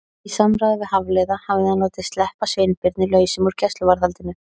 Í samráði við Hafliða hafði hann látið sleppa Sveinbirni lausum úr gæsluvarðhaldinu.